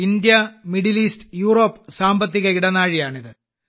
India Middle East Europe സാമ്പത്തിക ഇടനാഴിയാണിത്